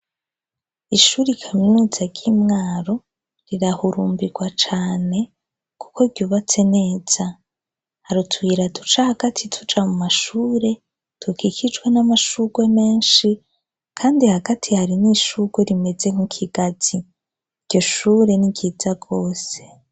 Ishuri kaminuza ry'imwaro rirahurumbirwa cane kuko ryubatse neza, har'utuyira duca hagati tuja mu mashure dukikijwe n'amashurwe menshi kandi hagati harimwo ishurwe rimeze nk'ikigazi, iryo shure ni ryiza gose.